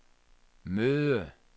møde